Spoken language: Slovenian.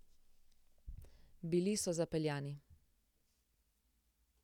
Bili so zapeljani.